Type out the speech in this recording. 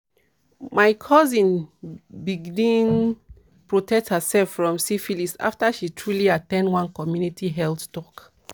my cousin bigns protect herself from syphilis after she truely at ten d one community health talk."